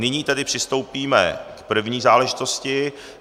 Nyní tedy přistoupíme k první záležitosti.